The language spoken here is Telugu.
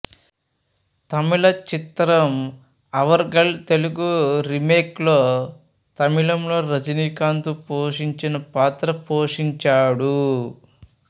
తమిళ చిత్రం అవర్ గళ్ తెలుగు రీమేక్ లో తమిళంలో రజనీకాంత్ పోషించిన పాత్ర పోషించాడు